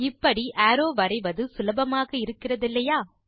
இப்படி அரோவ் வரைவது சுலபமாக இருக்கிறதில்லையா